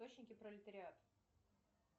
пролетариат